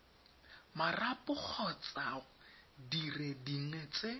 marapo kgotsa dire dingwe tse